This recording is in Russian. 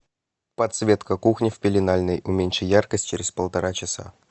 подсветка кухни в пеленальной уменьши яркость через полтора часа